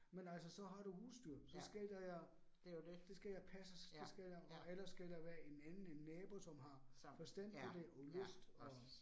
Men altså så har du husdyr, så skal der jo, det skal jo passes, det skal jo og ellers skal der være en anden, nabo, som har forstand på det og lyst og